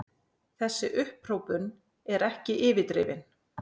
Þessi upphrópun er ekki yfirdrifin.